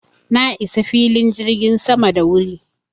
Na isa filin jirgin sama da wuri.